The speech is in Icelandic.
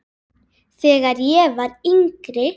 Þegar ég var yngri.